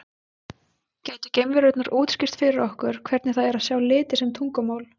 Gætu geimverurnar útskýrt fyrir okkur hvernig það er að sjá liti sem tungumál?